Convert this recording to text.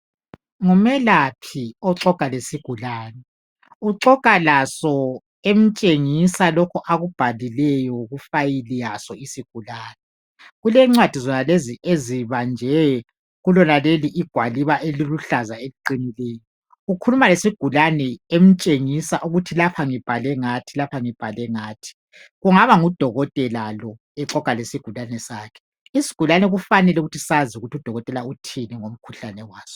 Ngumelaphi oxoxa lesigulane, uxoxa laso emtshengisa lokhu akubhalileyo ku file yaso isigulane. Kulencwadi zonalezi ezibanjwe kulonaleli gwaliba eliluhlaza eliqinileyo. Ukhuluma lesigulane emtshengisa ukuthi lapha ngibhale ngathi lapha ngibhale ngathi. Kungaba ngudokotela lo exoxa lesigulane sakhe. Isigulane kufanele sazi ukuthi udokotela uthini ngomkhuhlane waso.